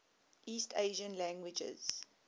east asian languages